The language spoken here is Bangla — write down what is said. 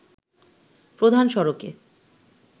প্রধান সড়কে